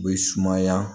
U bɛ sumaya